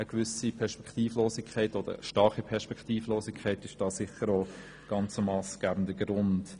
Sicher ist auch eine starke Perspektivlosigkeit ein massgebender Grund.